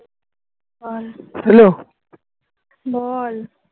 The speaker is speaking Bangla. বল